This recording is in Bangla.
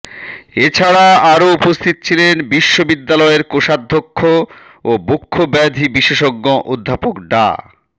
এছাড়া আরো উপস্থিত ছিলেন বিশ্ববিদ্যালয়ের কোষাধ্যক্ষ ও বক্ষব্যাধি বিশেষজ্ঞ অধ্যাপক ডা